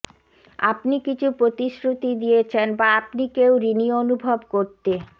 আপনি কিছু প্রতিশ্রুতি দিয়েছেন বা আপনি কেউ ঋণী অনুভব করতে